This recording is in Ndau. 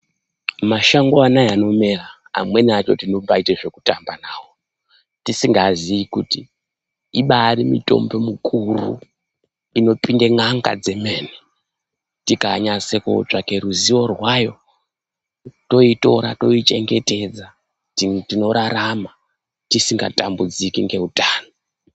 Mashango ano aya anomera amwenia cho tinombaita zvekutamba nawo tisingazivi kuti ibari mutombo mukuru inombayipinda n'anga dzeme tikanyatso kunotsvake ruzivo rwayo tinoitora toyichengetedza tinorarama tisinga tambudziki neutano.